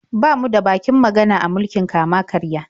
Ba mu da bakin magana a mulkin kama-karya.